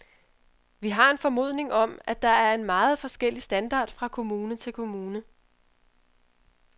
Vi har en formodning om, at der er en meget forskellig standard fra kommune til kommune.